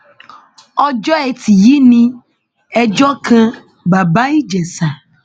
ọjọ ẹtí yìí ni ẹjọ kan bàbá ìjèṣà